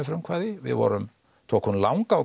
frumkvæði við vorum tókum langa